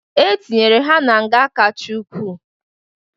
E tinyere ha na nga kacha ukwu.